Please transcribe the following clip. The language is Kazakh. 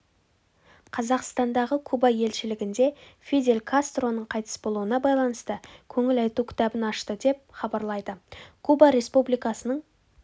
қазақстандағы куба елшілігінде фидель кастроның қайтыс болуына байланысты көңіл айту кітабын ашты деп хабарлайды куба республикасының